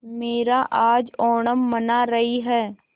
मीरा आज ओणम मना रही है